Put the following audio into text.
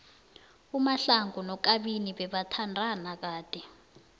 umahlangu nokabini bebathathana kade